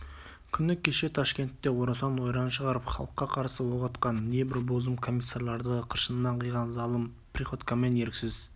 күні кеше ташкентте орасан ойран шығарып халыққа қарсы оқ атқан небір бозым комиссарларды қыршынынан қиған залым приходькомен еріксіз